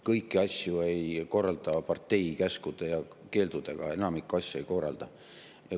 Kõiki asju ei korraldata partei käskude ja keeldudega, enamikku asju ei korraldata.